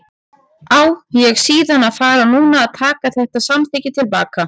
Á ég síðan að fara núna að taka þetta samþykki til baka?